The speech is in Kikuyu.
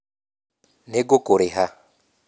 Nĩ ngũkũrĩha